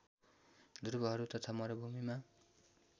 ध्रुवहरू तथा मरूभूमिमा